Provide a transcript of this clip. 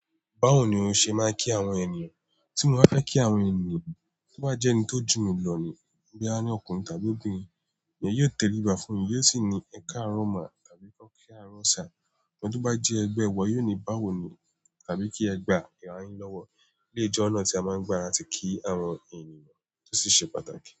"Báwo ni o ṣe máa ń kí àwọn ènìyàn?" Tí mo bá fẹ́ kí àwọn ènìyàn, tí wọ́n bá jẹ́ ẹni tó jù mí lọ ní, bóyá ni ọkùnrin tàbí obìnrin, èmi yóò tẹríba fún un, yóò sì ní, "Ẹ káàárọ̀ máa" tàbí "Ẹ kó kíáàárọ̀ sá". Eni to bá jẹ́ ẹgbẹ́ ẹ wa, yóò ní, "Báwo ni?" tàbí kí ẹ gbá ìrà yi lọ́wọ́. Bíye jọ́ ọ̀nà tí a máa ń gba làti kí àwọn ènìyàn tí ó sì ṣe pàtàkì.